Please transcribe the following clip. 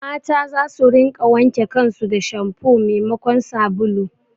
Mata za su rinƙa wanke kan su da shampu memakon sabulu